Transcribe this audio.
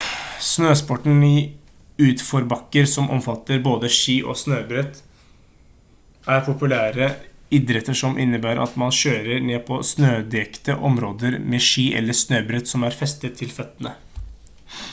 snøsporten i utforbakker som omfatter både ski og snøbrett er populære idretter som innebærer at man kjører ned på snødekte områder med ski eller snøbrett som er festet til føttene